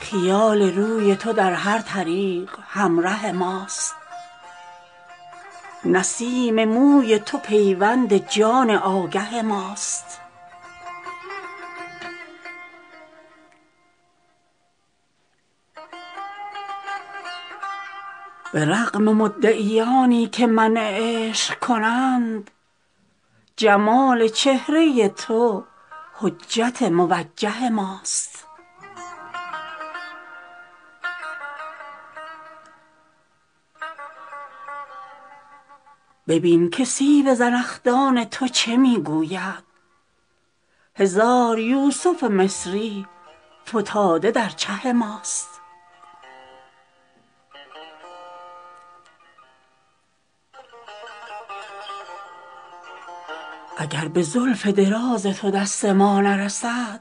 خیال روی تو در هر طریق همره ماست نسیم موی تو پیوند جان آگه ماست به رغم مدعیانی که منع عشق کنند جمال چهره تو حجت موجه ماست ببین که سیب زنخدان تو چه می گوید هزار یوسف مصری فتاده در چه ماست اگر به زلف دراز تو دست ما نرسد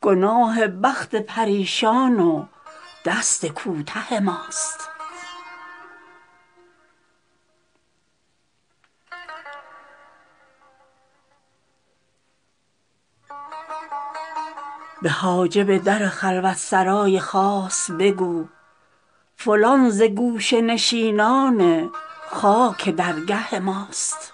گناه بخت پریشان و دست کوته ماست به حاجب در خلوت سرای خاص بگو فلان ز گوشه نشینان خاک درگه ماست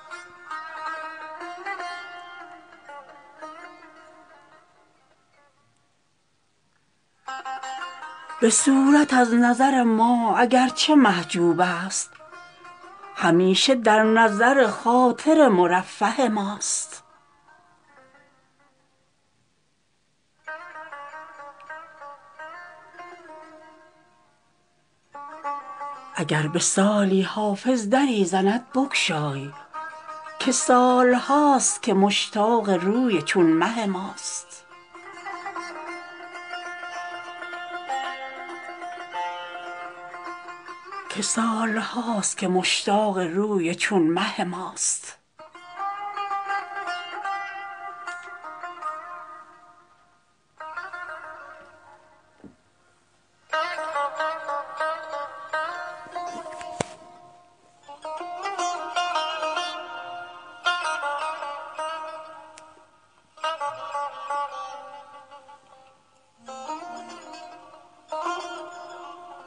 به صورت از نظر ما اگر چه محجوب است همیشه در نظر خاطر مرفه ماست اگر به سالی حافظ دری زند بگشای که سال هاست که مشتاق روی چون مه ماست